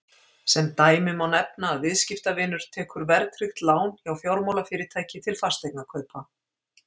Sem dæmi má nefna að viðskiptavinur tekur verðtryggt lán hjá fjármálafyrirtæki til fasteignakaupa.